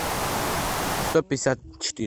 сто пятьдесят четыре